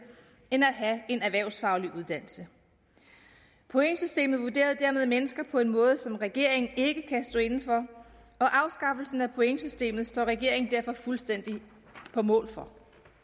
end at have en erhvervsfaglig uddannelse pointsystemet vurderede dermed mennesker på en måde som regeringen ikke kan stå inde for og afskaffelsen af pointsystemet står regeringen derfor fuldstændig på mål for